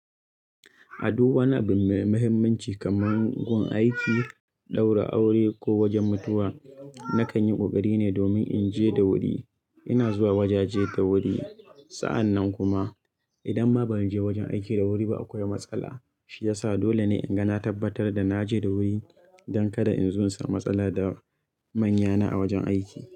A duk wani abu mai muhimmanci kaman gun aiki, ɗaura aure ko wojen mutuwa, na kan yi ƙoƙari ne domin in je da wuri. Ina zuwa wojaje da wuri. Sa'an nan kuma idan ma ban je wojen aiki da wuri ba akwai matsala. Shi yasa dole ne in ga na tabbatar da na je da wuri don kada in zo in samu matsala da manyana a wajen aiki.